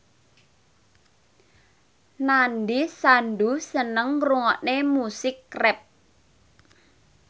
Nandish Sandhu seneng ngrungokne musik rap